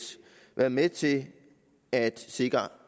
været med til at sikre